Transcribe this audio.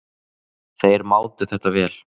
Þeir mátu þetta vel.